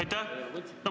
Aitäh!